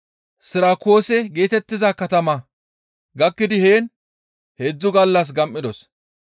Sirakuuse geetettiza katama gakkidi heen heedzdzu gallas gam7idos.